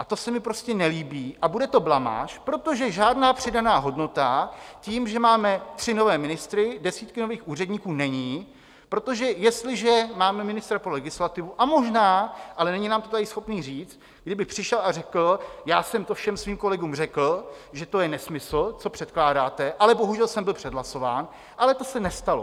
A to se mi prostě nelíbí a bude to blamáž, protože žádná přidaná hodnota tím, že máme tři nové ministry, desítky nových úředníků, není, protože jestliže máme ministra pro legislativu a možná, ale není nám to tady schopný říct, kdyby přišel a řekl: já jsem to všem svým kolegům řekl, že to je nesmysl, co předkládáte, ale bohužel jsem byl přehlasován, ale to se nestalo.